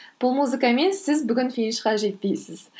бұл музыкамен сіз бүгін финишқа жетпейсіз